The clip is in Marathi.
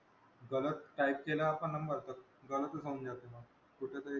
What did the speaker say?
गलत type केला आपण number तर गलतच होऊन जाते. कुठेतरी,